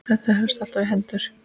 Þetta helst alltaf í hendur.